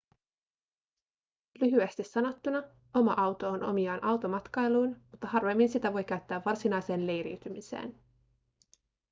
lyhyesti sanottuna oma auto on omiaan automatkailuun mutta harvemmin sitä voi käyttää varsinaiseen leiriytymiseen